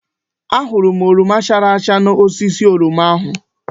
Ahụrụ m oroma chara acha n'osisi oroma ahụ.